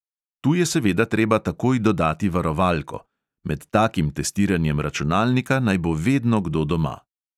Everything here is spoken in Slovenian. Tu je seveda treba takoj dodati varovalko; med takim testiranjem računalnika naj bo vedno kdo doma.